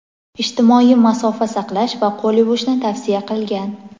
ijtimoiy masofa saqlash va qo‘l yuvishni tavsiya qilgan.